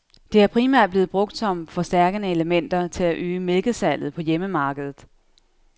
Det er primært blevet brugt som forstærkende elementer til at øge mælkesalget på hjemmemarkedet.